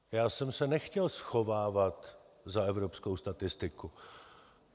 Já jsem se nechtěl schovávat za evropskou statistiku.